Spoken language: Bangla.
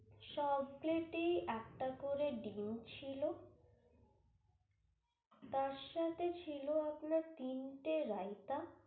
সব plate এই একটা করে ডিম ছিল। তার সাথে ছিল আপনার তিনটে রায়তা